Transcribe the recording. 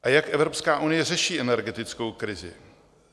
A jak Evropská unie řeší energetickou krizi?